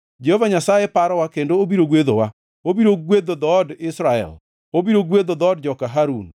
Jehova Nyasaye parowa kendo obiro gwedhowa; obiro gwedho dhood Israel, obiro gwedho dhood joka Harun,